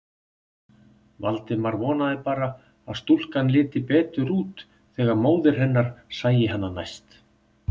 Valdimar vonaði bara að stúlkan liti betur út þegar móðir hennar sæi hana næst.